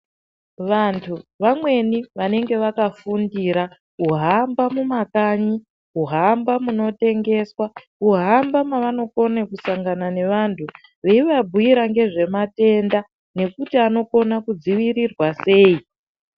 Vantu vamweni vanenge vakafundira kuhamba mumakanyi, kuhamba munotengeswa, kuhamba mavanokone kusangana nevanhu ,veivabhuira ngezvematenda, nekuti anokone kudzivirirwa sei.